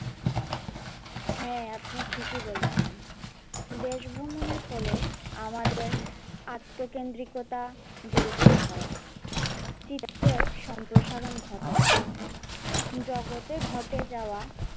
হ্যাঁ আপনি ঠিকই বলেছেন দেশ ভ্রমণের ফলে আমাদের আত্মকেন্দ্রিকতা দূরীভূত হয়, শিক্ষার সম্প্রসারণ ঘটে জগতে ঘটে যাওয়া,